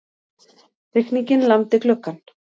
Rigningin lamdi gluggann.